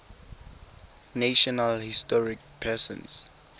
national historic persons